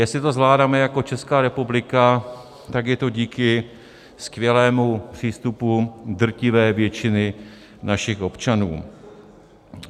Jestli to zvládáme jako Česká republika, tak je to díky skvělému přístupu drtivé většiny našich občanů.